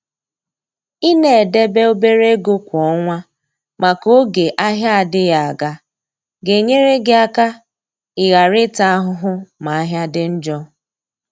i na edebe obere ego kwa ọnwa maka oge ahịa adịghị aga. ga-enyere gị aka i ghara ịta ahụhụ ma ahịa dị njọ.